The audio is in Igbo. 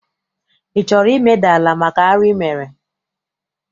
Ị chọrọ imeda ala maka arụ I mere?